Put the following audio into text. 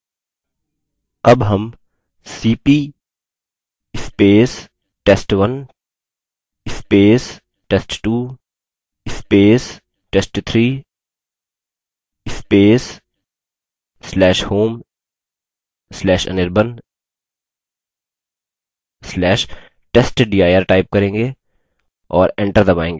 अब हम $cp test1 test2 test3/home/anirban/testdir type करेंगे और enter दबायेंगे